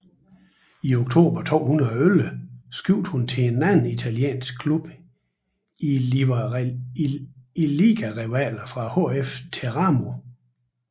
I oktober 2011 skiftede hun til en anden italiensk klub i ligarivalerne fra HF Teramo